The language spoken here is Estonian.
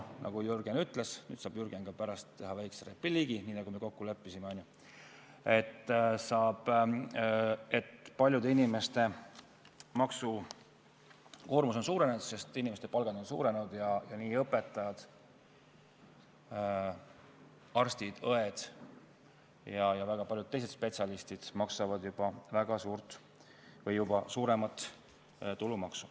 Nagu Jürgen juba ütles , et paljude inimeste maksukoormus on suurenenud, sest inimeste palgad on suurenenud ning õpetajad, arstid, õed ja väga paljud teised spetsialistid maksavad juba väga suurt või suuremat tulumaksu.